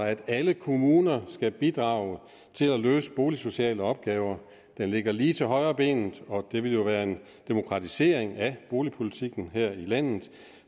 at alle kommuner skal bidrage til at løse boligsociale opgaver den ligger lige til højrebenet og det vil jo være en demokratisering af boligpolitikken her i landet